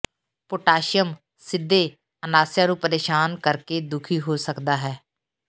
potassium ਸਿੱਧੇ ਅਨਾਸਿਆ ਨੂੰ ਪਰੇਸ਼ਾਨ ਕਰਕੇ ਦੁਖੀ ਹੋ ਸਕਦਾ ਹੈ